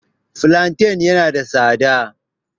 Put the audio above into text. Fulanten ya na da tsada